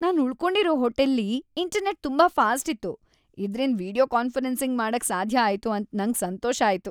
ನಾನ್ ಉಳ್ಕೊಂಡಿರೋ ಹೋಟೆಲ್ಲಿ ಇಂಟರ್ನೆಟ್ ತುಂಬಾ ಫಾಸ್ಟ್ ಇತ್ತು. ಇದ್ರಿಂದ್ ವಿಡಿಯೋ ಕಾನ್ಫರೆನ್ಸಿಂಗ್ ಮಾಡಕ್ ಸಾಧ್ಯ ಆಯ್ತು ಅಂತ್ ನಂಗ್ ಸಂತೋಷ ಆಯ್ತು.